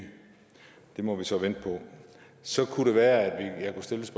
det må vi så vente på så kunne det være at jeg kunne stille